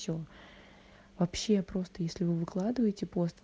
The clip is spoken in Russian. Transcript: че вообще просто если вы выкладываете пост